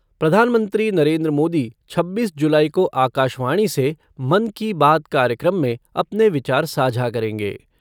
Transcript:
प्रधानमंत्री नरेन्द्र मोदी छब्बीस जुलाई को आकाशवाणी से मन की बात कार्यक्रम में अपने विचार साझा करेंगे।